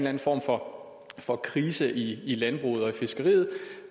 anden form for for krise i i landbruget og i fiskeriet